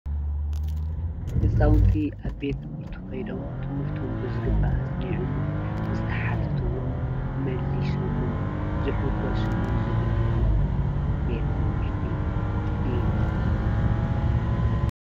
ህፃዉንቲ ኣብ ቤት ትምህርቲ ከይዶም ትምህርቶም ብዝግባእ ኣፅኒዖምን ዝተሓተትዎ መሊሶምን ዝሕጎስሉን ዝድነቁሉን ቤት ትምህርቲ እዩ፡፡